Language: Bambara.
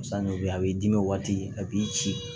Sani u bɛ yen a b'i dimi waati a b'i ci